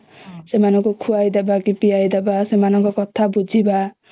ସେମାନଙ୍କୁ ଖୁଆଇ ଦେବା କି ପିଆଇ ଦେବା ସେମାନଙ୍କ କଥା ବୁଝିବା